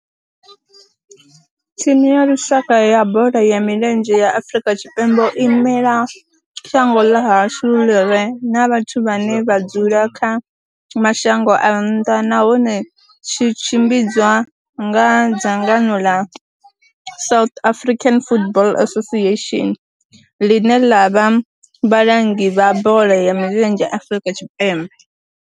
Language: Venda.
Thimu ya lushaka ya bola ya milenzhe ya Afrika Tshipembe i imela shango ḽa hashu ḽi re na vhathu vhane vha dzula kha mashango a nnḓa nahone tshi tshimbidzwa nga dzangano la South African Football Association, line la vha vhalangi vha bola ya milenzhe Afrika Tshipembe.